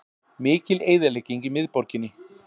Mikil eyðilegging í miðborginni